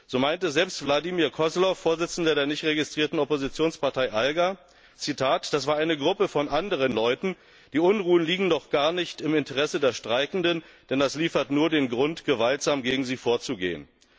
So meinte selbst Wladimir Koslow, Vorsitzender der nicht registrierten Oppositionspartei ALGA Das war eine Gruppe von anderen Leuten, die Unruhen liegen doch gar nicht im Interesse der Streikenden, denn das liefert nur den Grund, gewaltsam gegen sie vorzugehen.